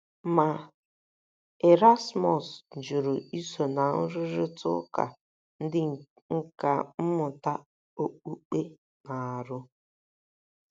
Ma, Erasmus jụrụ iso ná nrụrịta ụka ndị nkà mmụta okpukpe na - arụ.